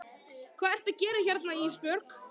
Hvað ertu að gera hérna Ísbjörg?